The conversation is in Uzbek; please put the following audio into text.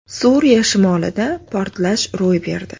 Suriya shimolida portlash ro‘y berdi.